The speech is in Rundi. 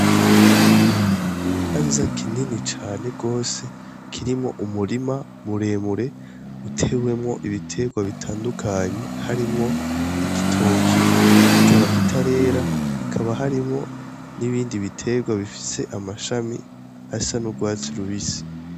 N'ikibanza kinini cane gose kirimwo umurima muremure utewemwo ibitegwa bitandukanye, harimwo igitoki, kikaba kitarera, hakaba harimwo n'ibindi bitegwa bifise amashami asa n'ugwatsi rubisi.